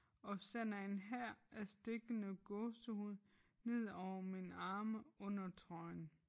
Og sender en hær af stikkende gåsehud nedover mine arme under trøjen